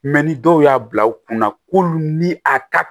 Mɛ ni dɔw y'a bila u kunna k'olu ni a ta